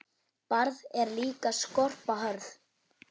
Barð er líka skorpa hörð.